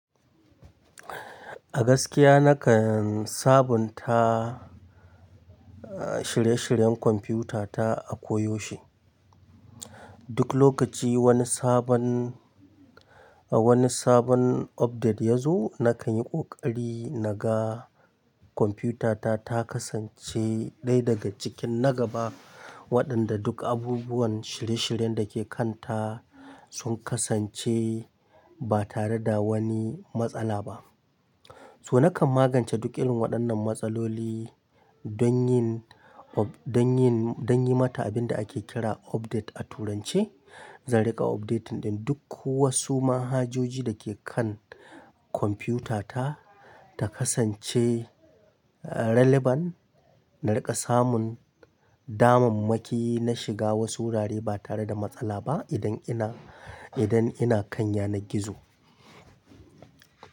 A gaskiya nakan sabunta, shirye-shiryen kwamfutata a koyaushe. Duk lokaci wani sabon, wani sabon update ya zo nakan yi ƙoƙari naga, kwamfutata ta kasance daya daga cikin na gaba, waɗanda duk abubuwan shirye-shiryen da ke kanta sun kasance ba tare da wani matsala ba. Toh nakan magante duk irin waɗannan matsaloli don yin, don yin, don yi mata abin da ake kira update a Turanci. Zan riƙa updating din duk wasu mahajoji da ke kan kwamfutata ta kasance relevant. Na riƙa samun damammaki na shiga wasu wurare ba tare da matsala ba idan ina, idan ina kan yanan gizo.